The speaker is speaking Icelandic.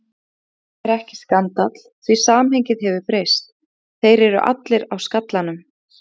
Sem þó er ekki skandall því samhengið hefur breyst: þeir eru allir á skallanum.